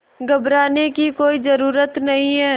घबराने की कोई ज़रूरत नहीं